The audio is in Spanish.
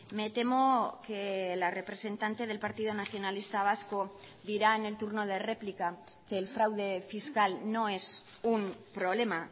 me temo que la representante del partido nacionalista vasco dirá en el turno de réplica que el fraude fiscal no es un problema